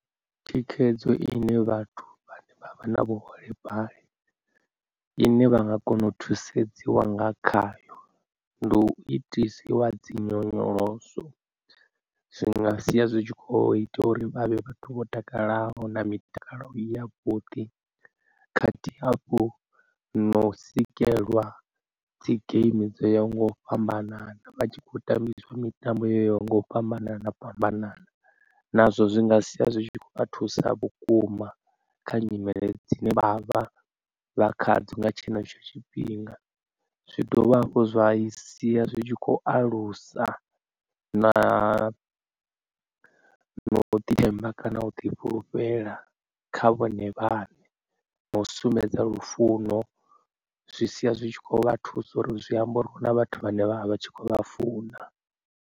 Thikhedzo ine vhathu vhane vha vha na vhuholefhali ine vha nga kona u thusedziwa nga khayo ndi u itisiwa dzinyonyoloso. Zwinga sia zwitshi kho ita uri vhavhe vhathu vho takalaho na mitakalo ya vhuḓi khathihi hafhu no sikelwa dzi game dzo ya nga u fhambanana vha tshi khou tambiswa mitambo yoyaho nga u fhambanana fhambanana, nazwo zwi nga sia zwi kho vha thusa vhukuma kha nyimele dzine vha vha vha kha dzo nga tshenetsho tshifhinga. Zwi dovha hafhu zwa i sia zwi tshi kho alusa na na u ḓi themba kana u ḓi fhulufhela kha vhone vhaṋe, na u sumbedza lufuno zwi sia zwi tshi kho vha thusa uri zwi amba uri hu na vhathu vhane vha vha vha tshi khou vha funa.